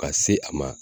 Ka se a ma